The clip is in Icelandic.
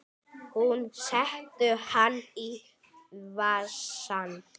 Hún setur hann í vasann.